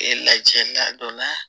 E lajɛ la don na